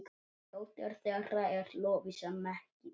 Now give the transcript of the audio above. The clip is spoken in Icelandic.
Dóttir þeirra er Lovísa Mekkín.